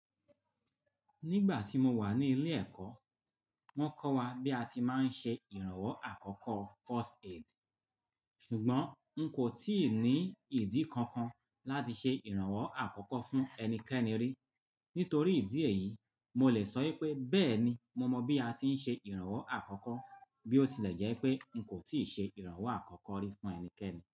Nígbà tí mo wà ní ilé ẹ̀kọ́, wọ́n kọ́ wa bí a ti máa ń ṣe ìrànwọ́ àkọ́kọ́ first aid. Ṣùgbọ́n n kò tíì ní ìdí kankan láti ṣe ìrànwọ́ àkọ́kọ́ fún ẹnikẹ́ni rí. Nítorí ìdí èyí, mo lè sọ wípé bẹ́ẹ̀ ni mo mọ bí a ti ń ṣe ìrànwọ́ àkọ́kọ́ bí ó tilẹ̀ jẹ́ pé n kò tíì ṣe ìrànwọ́ àkọ́kọ́ rí fún ẹnikẹ́ni.